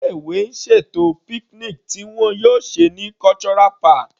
Ilé ìwé ń ṣètò picnic tí wọn yóò ṣe ní Cultural park.